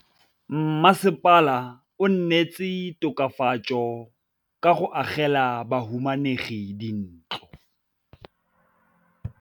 Mmasepala o neetse tokafatsô ka go agela bahumanegi dintlo.